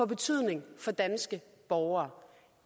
betydning for danske borgere